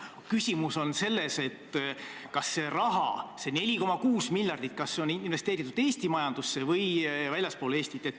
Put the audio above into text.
Küsimus on selles, kas see raha – see 4,6 miljardit – on investeeritud Eesti majandusse või Eestist väljapoole.